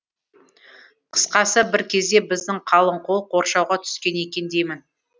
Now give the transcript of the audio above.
қысқасы бір кезде біздің қалың қол қоршауға түскен екен деймін